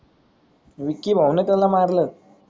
विक्की भाऊन त्याला मारल,